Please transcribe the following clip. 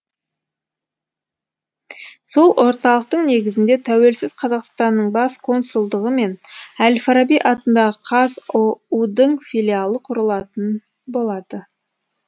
сол орталықтың негізінде тәуелсіз қазақстанның бас консулдығы мен әл фараби атындағы қазұу дың филиалы құрылатын болады